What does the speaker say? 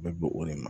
Bɛ bɔ o de ma